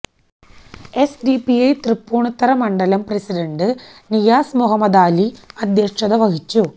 SDPI Tripunithura മണ്ഡലം president Niyas Muhammadali അധ്യക്ഷത വഹിച്ചു